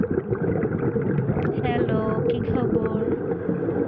hello, কি খবর?